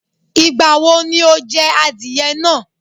Ìgbà wo ni o je adìye náa?